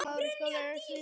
Hafi hann þökk fyrir það.